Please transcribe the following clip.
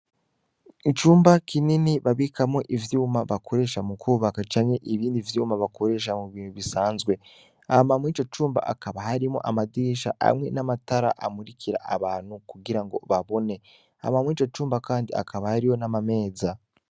Icumba kinini babikamwo ivyuma bakoresha mu kwubaka canke ibindi vyuma bakoresha mu bintu bisanzwe hama murico cumba hakaba harimwo amadirisha amwe n'amatara amurikira abantu kugira ngo babone hama murico cumba kandi hakaba hariho n'amameza.